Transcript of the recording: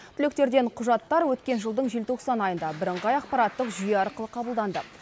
түлектерден құжаттар өткен жылдың желтоқсан айында бірыңғай ақпараттық жүйе арқылы қабылданды